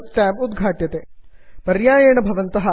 add ons manager add ons manager tab उद्घटते